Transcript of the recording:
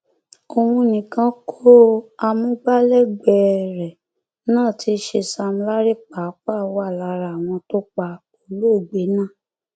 òun nìkan kó o amúgbálẹgbẹẹ rẹ náà tí í ṣe sam larry pàápàá wà lára àwọn tó pa olóògbé náà